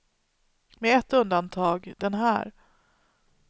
Med ett undantag, den här.